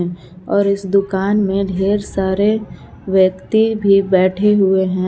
और इस दुकान में ढेर सारे व्यक्ति भी बैठे हुए हैं।